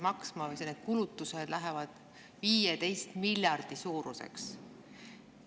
Kokku lähevad need kulutused 15 miljardi suuruseks.